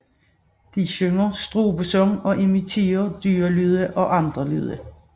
De synger strubesang og imiterer dyrelyde og andre lyhde